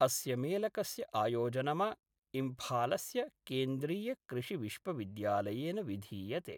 अस्य मेलकस्य आयोजनम इम्फालस्य केन्द्रीय कृषि विश्वविद्यालयेन विधीयते।